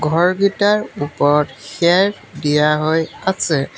ঘৰকিটাৰ ওপৰত খেৰ দিয়া হৈ আছে।